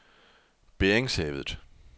Beringshavet